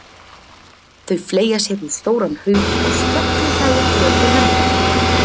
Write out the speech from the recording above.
Þau fleygja sér í stóran haug og skellihlæja þegar þau lenda í honum.